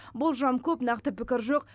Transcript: болжам көп нақты пікір жоқ